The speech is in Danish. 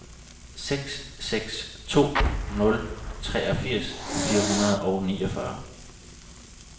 seks seks to nul treogfirs fire hundrede og niogfyrre